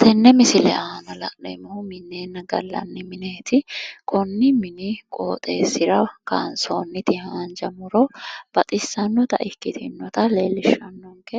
Tenne misile aana minneenna gallanni mineeti. Konni mini qooxeessira kansoonni haanja muro baxissannota ikkitinnota leellishshannonke.